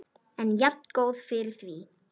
En jafngóð fyrir því!